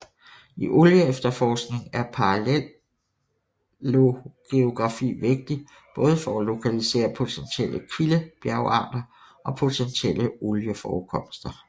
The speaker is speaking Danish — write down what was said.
I olieefterforkning er paleogeografi vigtig både for at lokalisere potentielle kildebjergarter og potentielle olieforekomster